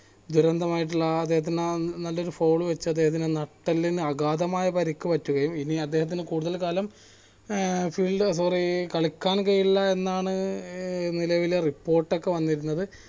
ദുരന്തമായിട്ടുള്ള ആ അദ്ദേഹത്തിന് നല്ലൊരു fall അദ്ദേഹത്തിന്റെ നട്ടെലിന് അഗാധമായ പരിക്ക് പറ്റുകയും ഇനി അദ്ദേഹത്തിന് കൂടുതൽ കാലം ഏർ field sorry കളിയ്ക്കാൻ കഴിയില്ല എന്നാണ് ഏർ നിലവിലെ report ഒക്കെ വന്നിരുന്നത്